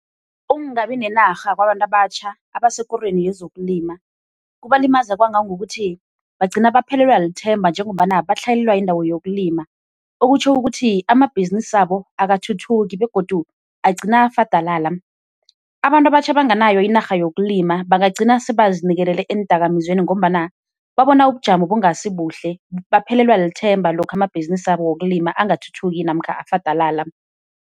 Ukungabi nenarha kwabantu abatjha abasekorweni yezokulima kubalimaza kwangangokuthi bagcina baphelelwa lithemba njengombana batlhayelelwa yindawo yokulima, okutjho ukuthi amabhizinisi wabo akathuthuki begodu agcina afadalala. Abantu abatjha abanganayo inarha yokulima bangagcina sebazinikelele eendakamizweni ngombana babona ubujamo bungasibuhle, baphelelwa lithemba lokha amabhizinisi wabo wokulima angathuthuki namkha afadalala.